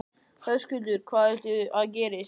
Höskuldur: Hvað viltu að gerist?